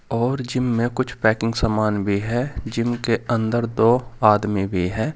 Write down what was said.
और जिम में कुछ पैकिंग सामान भी है जिम के अंदर दो आदमी भी है।